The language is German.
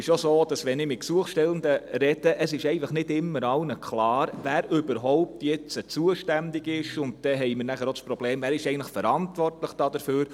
Wenn ich mit Gesuchstellenden spreche, ist auch nicht immer allen klar, wer jetzt zuständig ist, und dann haben wir noch das Problem, wer denn eigentlich dafür verantwortlich ist.